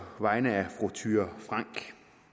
vegne af fru thyra frank